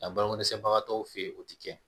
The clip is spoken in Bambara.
Nka baloko dɛsɛbagatɔw fe ye o te kɛ